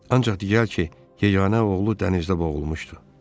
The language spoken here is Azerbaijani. Ancaq deyirlər ki, yeganə oğlu dənizdə boğulmuşdu.